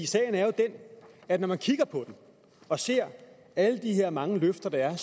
sagen er jo den at når man kigger på den og ser alle de her mange løfter der er